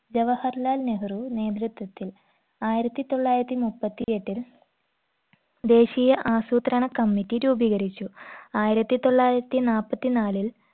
ജവഹർലാൽ നെഹ്‌റു നേതൃത്വത്തിൽ ആയിരത്തി തൊള്ളായിരത്തി മുപ്പത്തി എട്ടിൽ ദേശീയ ആസൂത്രണ committee രൂപീകരിച്ചു ആയിരത്തി തൊള്ളായിരത്തി നാപ്പത്തി നാലിൽ